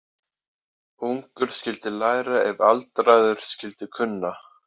Ungur skyldi læra ef aldraður skyldi kunna.